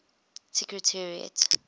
secretariat